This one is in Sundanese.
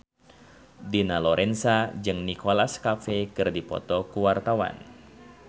Dina Lorenza jeung Nicholas Cafe keur dipoto ku wartawan